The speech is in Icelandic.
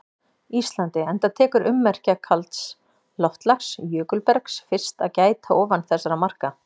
Íslandi enda tekur ummerkja kalds loftslags- jökulbergs- fyrst að gæta ofan þessara marka.